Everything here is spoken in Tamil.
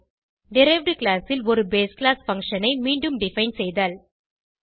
டெரைவ்ட் கிளாஸ் ல் ஒரு பேஸ் கிளாஸ் பங்ஷன் ஐ மீண்டும் டிஃபைன் செய்தல்